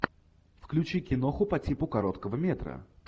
включи киноху по типу короткого метра